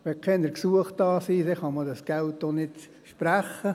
Wenn keine Gesuche da sind, dann kann man dieses Geld auch nicht sprechen.